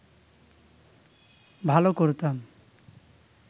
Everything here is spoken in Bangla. ভাল করতাম